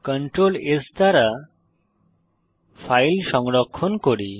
Ctrl S দ্বারা file সংরক্ষণ করি